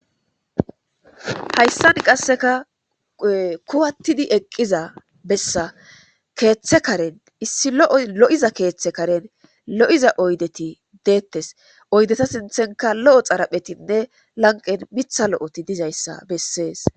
hayssan qasseka kuwattidi eqqiza bessa keeththe karen issi lo'oy lo'iza keeththe karen lo'iza oydeti deettes oydeta sinthenka lo'o xaraphetinne lanqen mitha lo'oti dizayssa bessees